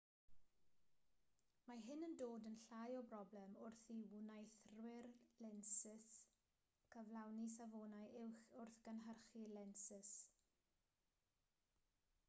mae hyn yn dod yn llai o broblem wrth i wneuthurwyr lensys gyflawni safonau uwch wrth gynhyrchu lensys